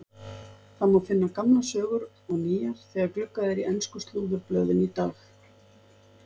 Það má finna gamlar sögur og nýjar þegar gluggað er í ensku slúðurblöðin í dag.